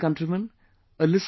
My dear countrymen,